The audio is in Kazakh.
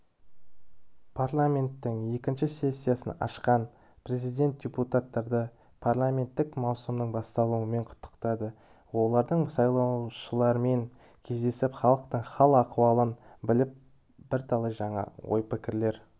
парламенттің екінші сессиясын ашқан президент депутаттарды парламенттік маусымның басталуымен құттықтады олардың сайлаушылармен кездесіп халықтың хал-ахуалын біліп бірталай жаңа ой-пікірлер